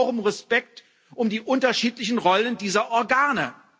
Ich bitte auch um Respekt für die unterschiedlichen Rollen dieser Organe.